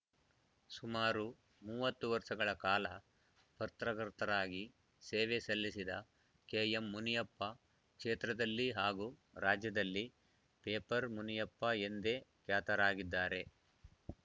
ಸುಮಾರು ಮೂವತ್ತು ವರ್ಷಗಳ ಕಾಲ ಪತ್ರಕರ್ತರಾಗಿ ಸೇವೆ ಸಲ್ಲಿಸಿದ ಕೆಎಂಮುನಿಯಪ್ಪ ಕ್ಷೇತ್ರದಲ್ಲಿ ಹಾಗೂ ರಾಜ್ಯದಲ್ಲಿ ಪೇಪರ್ ಮುನಿಯಪ್ಪ ಎಂದೇ ಖ್ಯಾತರಾಗಿದ್ದಾರೆ